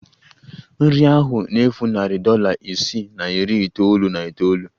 Nri ahụ na-efu narị dollar ise na iri itoolu na itoolu